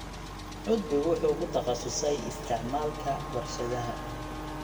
Cudbigu wuxuu ku takhasusay isticmaalka warshadaha.